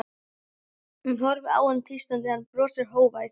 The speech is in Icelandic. Hún horfir á hann tístandi, hann brosir, hógvær.